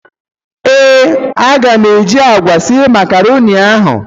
Ee, a ga m eji agwa sie macaroni ahụ.